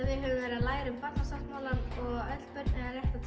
við höfum verið að læra um Barnasáttmálann og öll börn eiga rétta